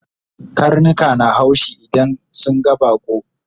Karnika na haushi idan sun ga baƙo